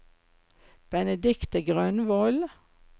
Benedicte Grønvold